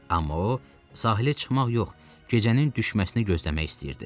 Amma o sahilə çıxmaq yox, gecənin düşməsini gözləmək istəyirdi.